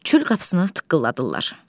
Çöl qapısını tıqqıldadırlar.